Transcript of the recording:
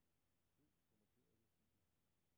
Søg på markerede filer.